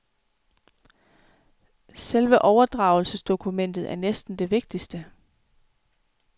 Selve overdragelsesdokumentet er næsten det vigtigste.